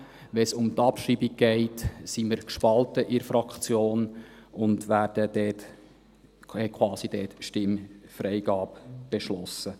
Wenn es um die Abschreibung geht, sind wir gespalten innnerhalb der Fraktion und haben dort quasi Stimmfreigabe beschlossen.